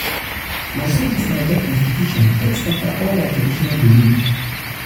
na so dis naija constitution take scatter all um our traditional um belief. um